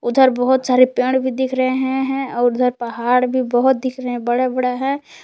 उधर बहुत सारे पेड़ भी दिख रहे है और उधर पहाड़ भी बहोत दिख रहे बड़ा बड़ा है।